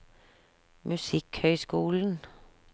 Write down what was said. musikkhøyskolen